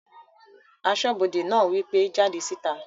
Asọ́bodè náà wí pé "jáde síta!"